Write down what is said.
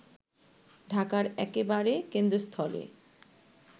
ঢাকার একেবারে কেন্দ্রস্থলে